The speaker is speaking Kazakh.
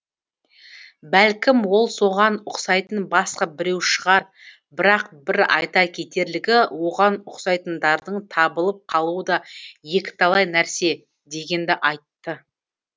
бәлкім ол соған ұқсайтын басқа біреу шығар бірақ бір айта кетерлігі оған ұқсайтындардың табылып қалуы да екіталай нәрсе дегенді айтты